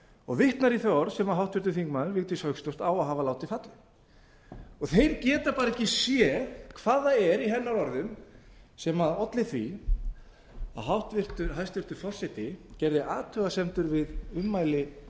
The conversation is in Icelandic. og vitnar í þau orð sem háttvirtur þingmaður vigdís hauksdóttir á að hafa látið falla þeir geta ekki séð hvað það er í hennar orðum sem olli því að hæstvirtur forseti gerði athugasemdir við ummæli